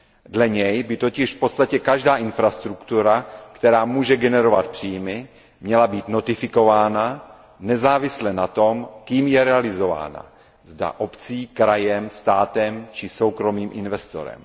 Dle něj by totiž v podstatě každá infrastruktura, která může generovat příjmy, měla být notifikována nezávisle na tom, kým je realizována, zda obcí, krajem, státem či soukromým investorem.